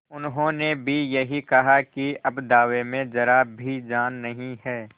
उन्होंने भी यही कहा कि अब दावे में जरा भी जान नहीं है